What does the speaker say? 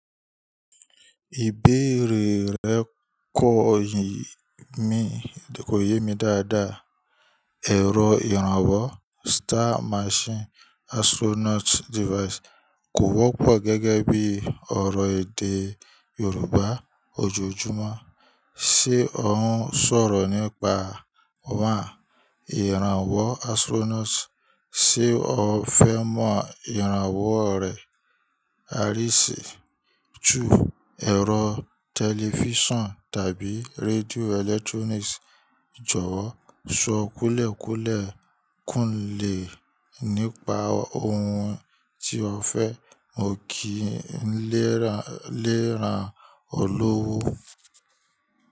Ìbéèrè rẹ̀ kò yé mi dáadáa. Ẹ̀rọ ìrànwọ́, star machine, astronaut device kò wọ́pọ̀ gẹ́gẹ́ bí ọ̀rọ̀ èdè Yorùbá ojoojúmọ́. Ṣé ó ń sọ̀rọ̀ nípa 1. Ìrànwọ́ astronaut? Ṣé o fẹ́ mọ ìrànwọ́ rẹ̀? 2. Ẹ̀rọ tẹlifíṣàn tàbí rédíò electronic. Jọ̀wọ́ sọ kùlẹ̀ kùlẹ̀ kúnlẹ̀ nípa ohun tí o fẹ́, mo kìí n lè ran olówó.